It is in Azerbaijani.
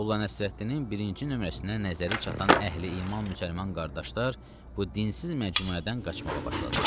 Molla Nəsrəddinin birinci nömrəsinə nəzəri çatan əhli-iman müsəlman qardaşlar bu dinsiz məcmuədən qaçmağa başladılar.